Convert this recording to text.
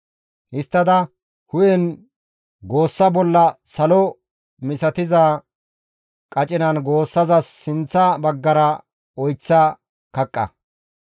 Histtada hu7en goossa bolla salo misatiza qacinan goossazas sinththa baggara oyththa kaqqa.